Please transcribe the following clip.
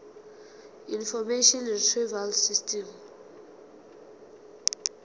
information retrieval system